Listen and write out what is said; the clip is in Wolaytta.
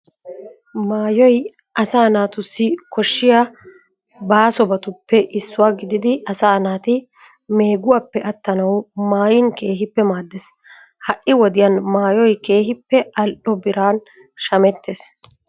Maayoy asaa naatussi koshshiya baasobatuppe issuwa gididi asaa naati meeguwappe attanawu maayin keehippe maaddees. Ha"i wodiyan maayoy keehippe al"o biran shamettees.